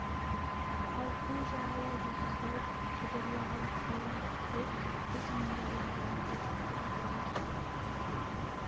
ал көл жағалай жұлдыздай жыбырлаған қалың от біз мұндалап бұларды шақырды да отырды